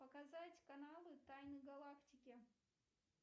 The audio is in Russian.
показать каналы тайны галактики